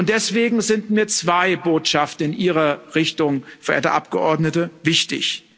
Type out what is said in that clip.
Deswegen sind mir zwei Botschaften in Ihre Richtung, verehrte Abgeordnete, wichtig.